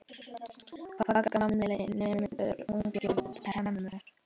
Hvað gamall nemur, ungur temur!